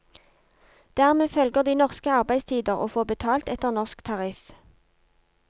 Dermed følger de norske arbeidstider og får betalt etter norsk tariff.